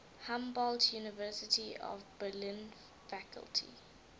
humboldt university of berlin faculty